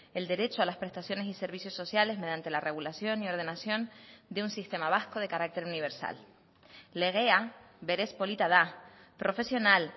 el derecho a las prestaciones y servicios sociales mediante la regulación y ordenación de un sistema vasco de carácter universal legea berez polita da profesional